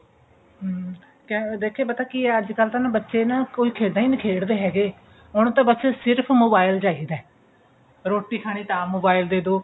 ਹਮ ਦੇਖੀਏ ਪਤਾ ਕਿ ਐ ਅੱਜਕਲ ਤਾਂ ਨਾ ਬੱਚੇ ਨਾ ਕੋਈ ਖੇਡਾ ਹੀ ਨਹੀਂ ਖੇਡਦੇ ਹੈਗੇ ਉਹਨੂੰ ਤਾਂ ਬਸ ਸਿਰਫ mobile ਚਾਹਿਦਾ ਰੋਟੀ ਖਾਣੀ ਹੈ ਤਾਂ mobile ਦੇਦੋ